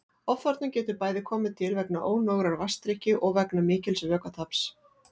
Ofþornun getur bæði komið til vegna ónógrar vatnsdrykkju og vegna mikils vökvataps.